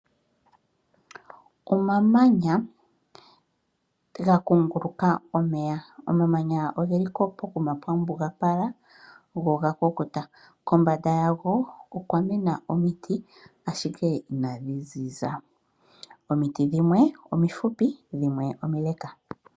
Omamanya ga kunguluka omeya, omamanya ogeli pokuma pwambugapala go ogakukuta. Kombanda yago okwamena omiti ashike inadhiziza. Omiti dhimwe omifupi dhimwe omileka.